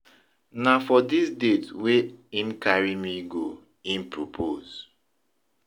Na for di date wey im carry me go im propose.